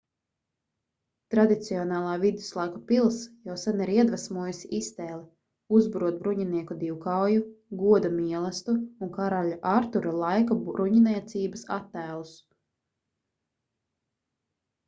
tradicionālā viduslaiku pils jau sen ir iedvesmojusi iztēli uzburot bruņinieku divkauju goda mielastu un karaļa artura laika bruņniecības attēlus